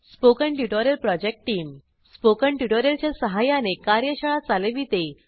spoken tutorial project team spoken tutorial च्या सहाय्याने कार्यशाळा चालविते